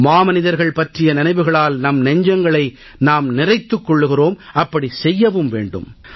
மாமனிதர்கள் பற்றிய நினைவுகளால் நம் நெஞ்சங்களை நாம் நிறைத்துக் கொள்கிறோம் அப்படி செய்யவும் வேண்டும்